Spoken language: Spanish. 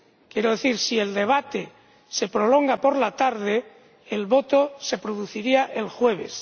Quiero decir si el debate se prolonga por la tarde, el voto se produciría el jueves.